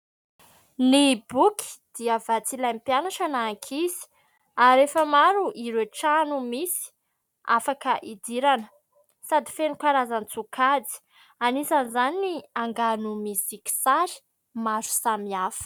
Ny boky dia vatsy ilain'ny mpianatra na ankizy ary efa maro ireo trano misy afaka idirana sady feno karazan-tsokajy : anisany izany ny angano misy kisarisary maro samihafa.